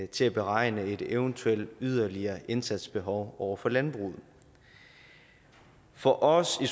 til at beregne et eventuelt yderligere indsatsbehov over for landbruget for os i